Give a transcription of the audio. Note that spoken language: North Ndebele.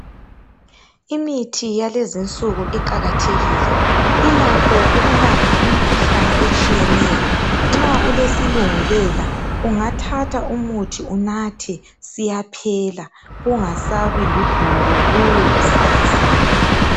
Imithi yalezinsuku iqakathekile ilakho ukulapha imikhuhlane etshiyeneyo nxa ulesilungulela ungathatha umuthi unathe siyaphela kungasabi ludubo kuwe kusasa